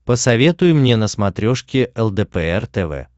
посоветуй мне на смотрешке лдпр тв